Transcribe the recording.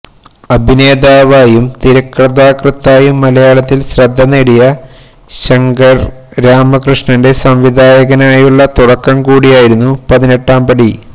അഭിനേതാവായും തിരക്കഥാകൃത്തായും മലയാളത്തില് ശ്രദ്ധ നേടിയ ശങ്കര് രാമകൃഷ്ണന്റെ സംവിധായകനായുളള തുടക്കം കൂടിയായിരുന്നു പതിനെട്ടാം പടി